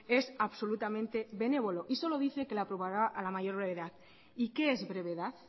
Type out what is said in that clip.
es absolutamente benévolo y solo dice que la aprobará a la mayor brevedad y que es brevedad